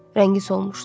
Rəngi solmuşdu.